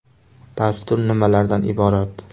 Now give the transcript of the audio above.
Dastur nimalardan iborat?